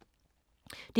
DR2